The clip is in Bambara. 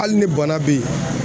Hali ni bana bɛ ye